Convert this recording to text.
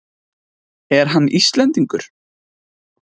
Er hann Íslendingur?